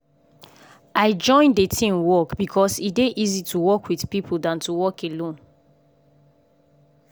i join the team work because e dey easy to work with people dan to work alone.